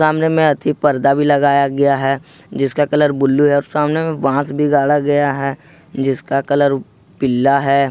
सामने में अथी पर्दा भी लगाया गया है जिसका कलर ब्लू है और सामने में बांस भी गाढ़ा गया है जिसका कलर पीला है।